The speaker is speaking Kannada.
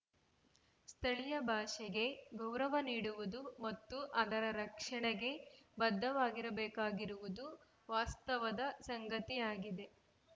ಸ್ಥಳೀಯ ಭಾಷೆಗೆ ಗೌರವ ನೀಡುವುದು ಮತ್ತು ಅದರ ರಕ್ಷಣೆಗೆ ಬದ್ಧವಾಗಿರಬೇಕಾಗಿರುವುದು ವಾಸ್ತವದ ಸಂಗತಿಯಾಗಿದೆ